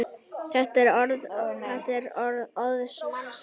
Þetta er óðs manns æði!